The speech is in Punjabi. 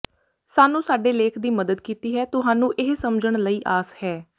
ਸਾਨੂੰ ਸਾਡੇ ਲੇਖ ਦੀ ਮਦਦ ਕੀਤੀ ਹੈ ਤੁਹਾਨੂੰ ਇਹ ਸਮਝਣ ਲਈ ਆਸ ਹੈ